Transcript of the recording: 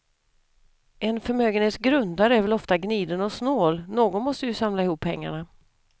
En förmögenhets grundare är väl ofta gniden och snål, någon måste ju samla ihop pengarna.